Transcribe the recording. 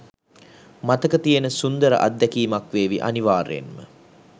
මතක තියෙන සුන්දර අත්දැකීමක් වේවි අනිවාර්යයෙන්ම.